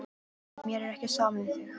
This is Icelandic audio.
Mér er ekki sama um þig.